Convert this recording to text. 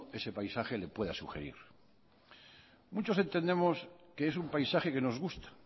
ese paisaje le pueda sugerir muchos entendemos que es un paisaje que nos gusta